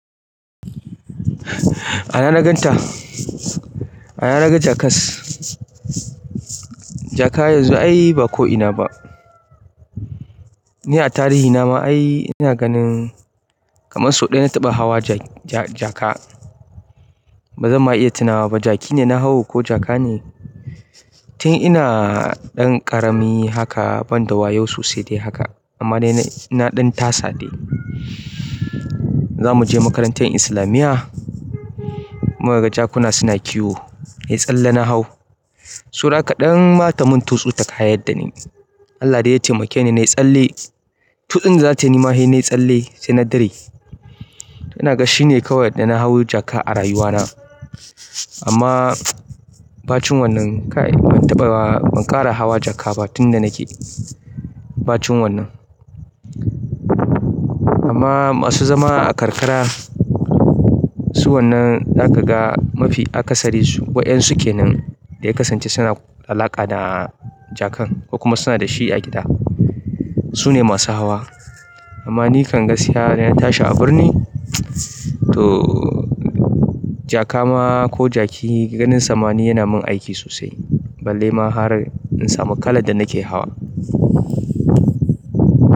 A ina na ganta? A ina naga jakas. Jaka yanzu ai ba ko ina ba. Ni a tarihi na ma ai ina ganin kamar sau ɗaya na taɓa hawa ja-ja-jaka. Ba zan ma iya tunawa ba jaki ne na hau ko jaka ne. Tin ina ɗan ƙarami haka ban da wayau sosai dai haka amma dai na ɗan tasa dai. Za mu je makarantar islamiyya, mukaga jakuna suna kiwo. Nai tsalle nahau saura kaɗan ma tamun tutsu ta kayyad da ni. Allah dai taimake ni nayi tsalle. Tutsun dazata yi nima he nayi tsalle, sai na dure. Ina ga shine kawai da na hau jaka a rayuwa na. Amma ba cin wannan kai. Ban taɓa ba, ban ƙara hawa jaka ba tun da nake ba cin wannan. Amma masu zama a karkara, su wannan za ka ga mafi aka sari su. Waƴan suke nan da ya kasance suna alaƙa da jakan kokuma suna da shi a gida. Su ne masu hawa. Amma nikan gashiya na tashi a birni to jaka ma ko jaki ganin sama ni yana mun aiki sosai. Balle ma har in samu kalar da nake hawa.